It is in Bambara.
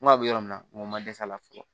N ko a bɛ yɔrɔ min na n ko ma dɛsɛ a la fɔlɔ